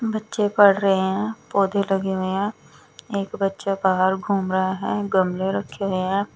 बच्चे पड़ रहे हैं पौधे लगे हुए हैं एक बच्चा बाहर घूम रहा है गमले रखे हुए हैं।